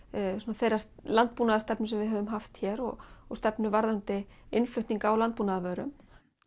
þeirra landbúnaðarstefnu sem við höfum haft hér og og stefnu varðandi innflutning á landbúnaðarvörum